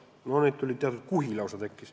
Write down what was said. No neid tekkis lausa kuhi.